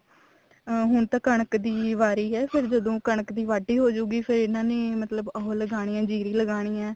ਅਮ ਹੁਣ ਤਾਂ ਕਣਕ ਦੀ ਵਾਰੀ ਹੈ ਜਦੋਂ ਕਣਕ ਦੀ ਵਾਢੀ ਹੋਜੂਗੀ ਫ਼ੇਰ ਇਹਨਾ ਨੇ ਮਤਲਬ ਉਹ ਲਗਾਉਣੀ ਹੈ ਜੀਰੀ ਲਗਾਉਣੀ ਹੈ